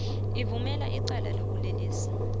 uvumela icala lobulelesi